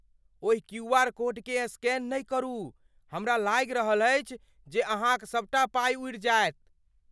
ओहि क्यूआर कोडकेँ स्कैन नहि करू। हमरा लागि रहल अछि जे अहाँक सबटा पाइ उड़ि जायत।